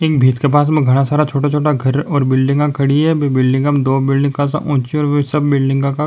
इन भीत के पास में घणा सारा छोटा छोटा घर और बिल्डिंगा खड़ी है बी बिल्डिंगा में दो बिल्डिंग काशा ऊंची और सब बिल्डिंगा का --